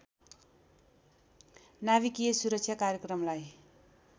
नाभिकीय सुरक्षा कार्यक्रमलाई